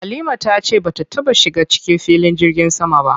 Halima ta ce bata taɓa shiga cikin filin jirgin sama ba.